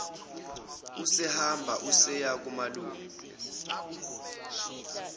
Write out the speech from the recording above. usehamba useya kumalume